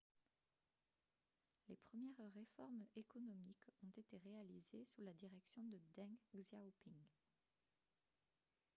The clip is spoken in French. les premières réformes économiques ont été réalisées sous la direction de deng xiaoping